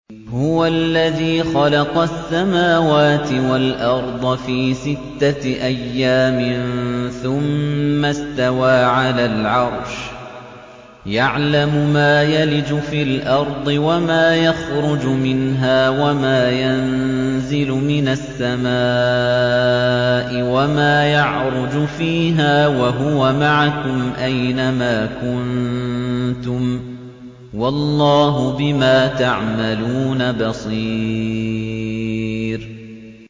هُوَ الَّذِي خَلَقَ السَّمَاوَاتِ وَالْأَرْضَ فِي سِتَّةِ أَيَّامٍ ثُمَّ اسْتَوَىٰ عَلَى الْعَرْشِ ۚ يَعْلَمُ مَا يَلِجُ فِي الْأَرْضِ وَمَا يَخْرُجُ مِنْهَا وَمَا يَنزِلُ مِنَ السَّمَاءِ وَمَا يَعْرُجُ فِيهَا ۖ وَهُوَ مَعَكُمْ أَيْنَ مَا كُنتُمْ ۚ وَاللَّهُ بِمَا تَعْمَلُونَ بَصِيرٌ